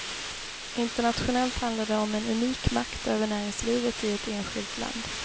Internationellt handlar det om en unik makt över näringslivet i ett enskilt land.